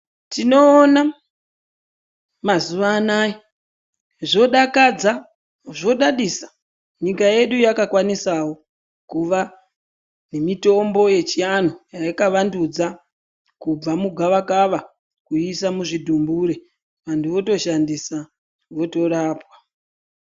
Tinoona mazuva anaya zvodakadza, zvodadisa nyika yedu yakakwanisawo kuva nemitombo yechivantu yayakavandudza, kubva mugavakava kuiisa muzvidhumbure. Vantu votoshandisa, votorapwa.